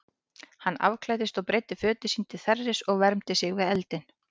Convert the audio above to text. Hann afklæddist og breiddi fötin sín til þerris og vermdi sig við eldinn.